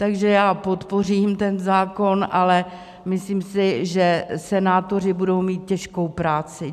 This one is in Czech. Takže já podpořím ten zákon, ale myslím si, že senátoři budou mít těžkou práci.